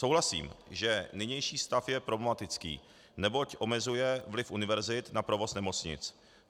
Souhlasím, že nynější stav je problematický, neboť omezuje vliv univerzit na provoz nemocnic.